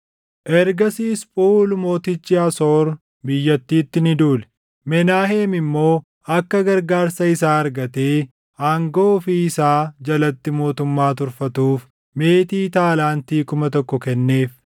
Ergasiis Phuuli mootichi Asoor biyyattiitti ni duule; Menaaheem immoo akka gargaarsa isaa argate aangoo ofii isaa jalatti mootummaa turfatuuf meetii taalaantii kuma tokko kenneef.